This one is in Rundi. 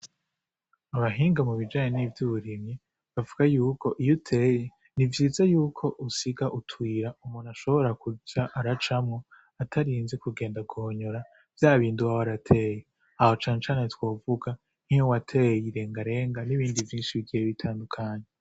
Abahinga mu bijanye n'ivyo uburimyi, bavuga yuko iyo uteye, ni vyiza yuko usiga utuyira umuntu ashobora kuza aracamwo atarinze kugenda guhonyora vyabindi uba warateye. Aho nshatse kuvuga nkiyo wateye irengarenga n'ibindi vyinshi bigiye bitandukanye.